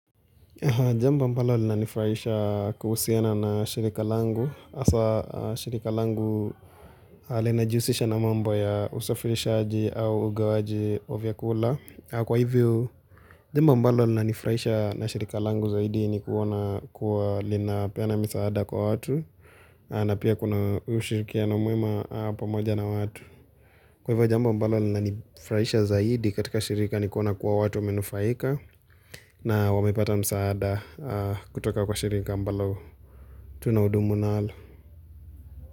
Jamba mbalo lina nifuraisha kuhusiana nashirika langu. Asa shirika langu linajusisha na mambo ya usafirishaji au ugawaji wa vyakula. Kwa hivyo jamba mbalo lina nifraisha na shirika langu zaidi ni kuona kuwa linapena misaada kwa watu. Na pia kuna ushirikiano mwema pamoja na watu. Kwa hivyo jamba mbalo na nifraisha zaidi katika shirika nikona kuwa watu amenufaika na wamepata msaada kutoka kwa shirika mbalo tuna udumu na hala.